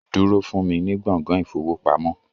Wait for me in the banking hall